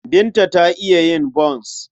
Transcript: Binta ta iya yin bons.